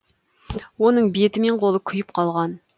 оның беті мен қолы күйіп қалған